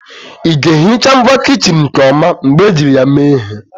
Ị ga-ehicha ngwa kichin nke ọma mgbe ejiri ya mee ihe